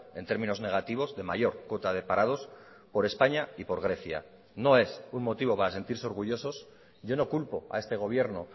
en términos negativos de mayor cuota de parados por españa y por grecia no es un motivo para sentirse orgullosos yo no culpo a este gobierno